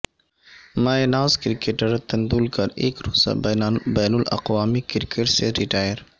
مایہ ناز کرکٹر ٹنڈولکر ایک روزہ بین الاقوامی کرکٹ سے ریٹائر